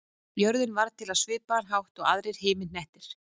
Jörðin varð til á svipaðan hátt og aðrir himinhnettir.